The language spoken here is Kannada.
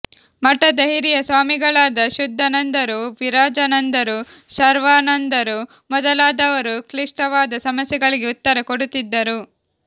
ಮಠದ ಹಿರಿಯ ಸ್ವಾಮಿಗಳಾದ ಶುದ್ಧಾನಂದರು ವಿರಜಾನಂದರು ಶರ್ವಾನಂದರು ಮೊದಲಾದವರು ಕ್ಲಿಷ್ಟವಾದ ಸಮಸ್ಯೆಗಳಿಗೆ ಉತ್ತರ ಕೊಡುತ್ತಿದ್ದರು